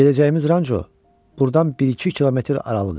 Gedəcəyimiz ranço burdan bir-iki kilometr aralıdır.